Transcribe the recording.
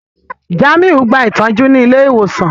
Jàmíù n gbà ìtọju ní ilẹ̀-ìwosan.